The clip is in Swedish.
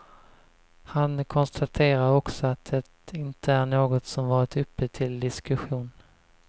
Han konstaterar också att det inte är något som varit uppe till diskussion.